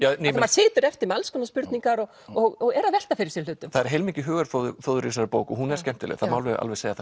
situr eftir með alls konar spurningar og og er að velta fyrir sér hlutum það er heilmikið hugarfóður í þessari bók og hún er skemmtileg það má alveg segja